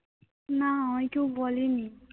না আমায় কেউ বলেনি।